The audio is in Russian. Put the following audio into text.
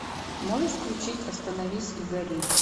можешь включить остановись и гори